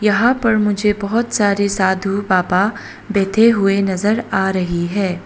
यहां पर मुझे बहोत सारे साधु बाबा बैठे हुए नजर आ रही हैं।